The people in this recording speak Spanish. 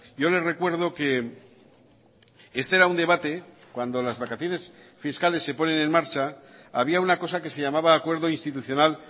yo le recuerdo que este era un debate cuando las vacaciones fiscales se ponen en marcha había una cosa que se llamaba acuerdo institucional